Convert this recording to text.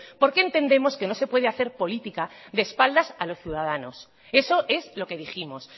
porque entendemos que no se puede hacer política de espaldas a los ciudadanos eso es lo que dijimos